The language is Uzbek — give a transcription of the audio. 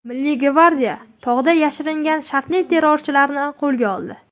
Milliy gvardiya tog‘da yashiringan shartli terrorchilarni qo‘lga oldi .